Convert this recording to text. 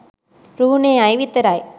රුහුණෙ අය විතරයි